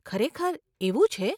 ખરેખર, એવું છે?